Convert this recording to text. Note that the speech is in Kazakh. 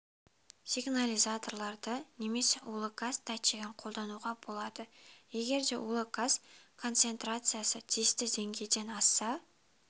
сигнализаторларды немесе улы газ датчигін қолдануға болады егер де улы газ концентрациясы тиісті деңгейден асса